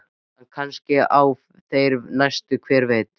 En kannski á þeirri næstu, hver veit?